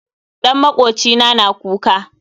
Ɗan makwocina na kuka